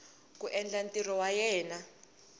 ku endla ntirho wa yena